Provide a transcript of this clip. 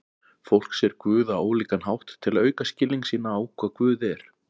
Fólk sér Guð á ólíkan hátt til að auka skilning sinn á hvað Guð er.